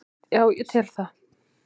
Já ég tel það.